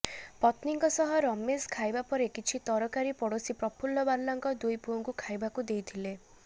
ପତ୍ନୀଙ୍କ ସହ ରମେଶ ଖାଇବା ପରେ କିଛି ତରକାରୀ ପଡ଼ୋଶୀ ପ୍ରଫୁଲ୍ଲ ବାର୍ଲାଙ୍କ ଦୁଇପୁଅଙ୍କୁ ଖାଇବାକୁ ଦେଇଥିଲେ